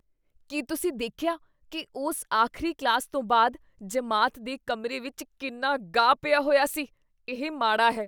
ਕੀ ਤੁਸੀਂ ਦੇਖਿਆ ਕੀ ਉਸ ਆਖ਼ਰੀ ਕਲਾਸ ਤੋਂ ਬਾਅਦ ਜਮਾਤ ਦੇ ਕਮਰੇ ਵਿੱਚ ਕਿੰਨਾ ਗਾਹ ਪਿਆ ਹੋਇਆ ਸੀ? ਇਹ ਮਾੜਾ ਹੈ।